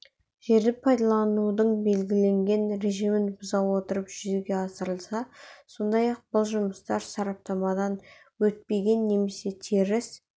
жерді пайдаланудың белгіленген режимін бұза отырып жүзеге асырылса сондай-ақ бұл жұмыстар сараптамадан өтпеген немесе теріс